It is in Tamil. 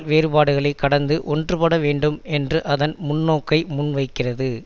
வேறுபாடுகளை கடந்து ஒன்றுபடவேண்டும் என்ற அதன் முன்னோக்கை முன்வைக்கிறது